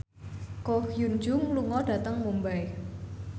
Ko Hyun Jung lunga dhateng Mumbai